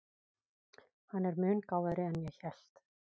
Hann er mun gáfaðri en ég hélt.